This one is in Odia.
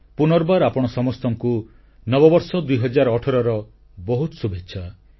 ପୁନର୍ବାର ଆପଣ ସମସ୍ତଙ୍କୁ ନବବର୍ଷ 2018ର ବହୁତ ଶୁଭେଚ୍ଛା